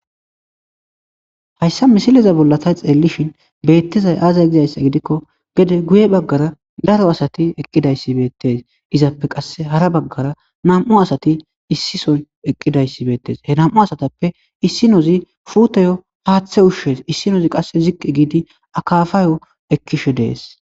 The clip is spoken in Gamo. hayssa misileza bollata xeellishin beettizay aazay gizayssa gidikko gede guye baggara daro asati eqqidayssi beettes izappe qasse hara baggara nam7u asati issisoy eqqidayssi beettes he nam7u asatappe issinozi fuutoyo haaththe ushshees issinozi qasse ziqqe giidi akafaayo ekkishe dees